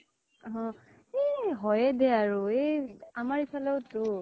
অ । এ হয় য়ে দে আৰু । এই আমাৰ ইফালেও তো